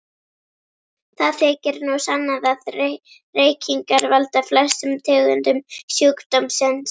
Það þykir nú sannað að reykingar valda flestum tegundum sjúkdómsins.